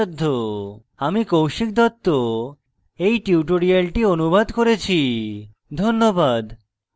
ধন্যবাদ